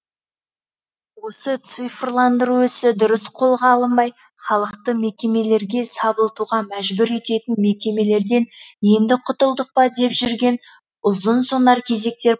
осы цифрландыру ісі дұрыс қолға алынбай халықты мекемелерге сабылтуға мәжбүр ететін мекемелерден енді құтылдық па деп жүрген ұзын сонар кезектер